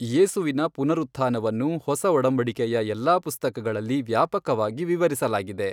ಯೇಸುವಿನ ಪುನರುತ್ಥಾನವನ್ನು ಹೊಸಒಡಂಬಡಿಕೆಯ ಎಲ್ಲಾ ಪುಸ್ತಕಗಳಲ್ಲಿ ವ್ಯಾಪಕವಾಗಿ ವಿವರಿಸಲಾಗಿದೆ.